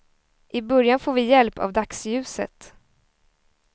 I början får vi hjälp av dagsljuset.